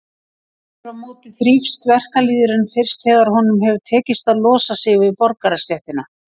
Aftur á móti þrífst verkalýðurinn fyrst þegar honum hefur tekist að losa sig við borgarastéttina.